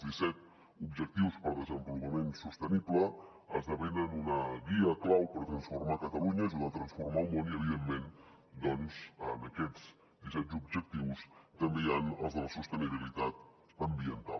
els disset objectius per al desenvolupament sostenible esdevenen una guia clau per transformar catalunya ajudar a transformar el món i evidentment doncs en aquests disset objectius també hi han els de la sostenibilitat ambiental